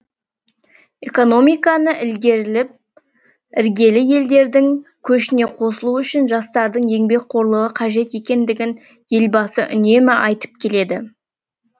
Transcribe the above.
экономиканы ілгерілеіп іргелі елдердің көшіне қосылу үшін жастардың еңбекқорлығы қажет екендігін елбасы үнемі айтып келеді